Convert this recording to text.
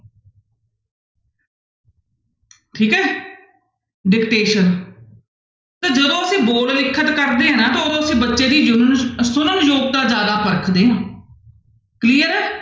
ਠੀਕ ਹੈ dictation ਤਾਂ ਜਦੋਂ ਅਸੀਂ ਬੋਲ ਲਿਖਤ ਕਰਦੇ ਹਾਂ ਨਾ ਤਾਂ ਉਦੋਂ ਅਸੀਂ ਬੱਚੇ ਦੀ ਜੁਣਨ ਸੁਣਨ ਯੋਗਤਾ ਜ਼ਿਆਦਾ ਪਰਖਦੇ ਹਾਂ clear ਹੈ।